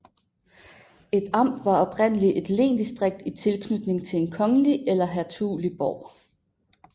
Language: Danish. Et amt var oprindelig et lensdistrikt i tilknytning til en kongelig eller hertugelig borg